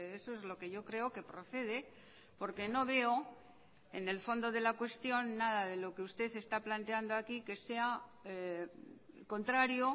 eso es lo que yo creo que procede porque no veo en el fondo de la cuestión nada de lo que usted está planteando aquí que sea contrario